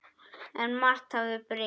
En margt hafði breyst.